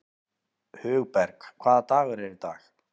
Hugberg, hvaða dagur er í dag?